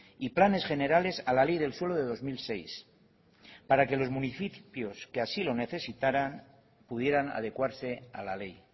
y planes generales a la ley del suelo de dos mil seis para que los municipios que así lo necesitaran pudieran adecuarse a la ley